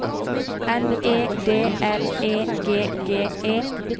N E D L E G G E